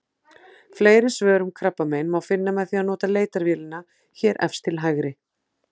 Fleiri svör um krabbamein má finna með því að nota leitarvélina hér efst til hægri.